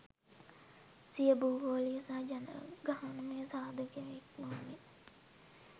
සිය භූගෝලීය සහ ජනගහනමය සාධක ඉක්මවමින්